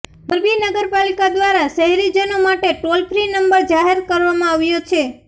મોરબી નગરપાલિકા દ્વારા શહેરીજનો માટે ટોલ ફ્રી નંબર જાહેર કરવામાં આવ્યો છે